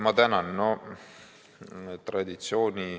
Ma tänan!